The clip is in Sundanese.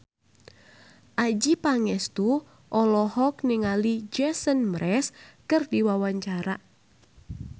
Adjie Pangestu olohok ningali Jason Mraz keur diwawancara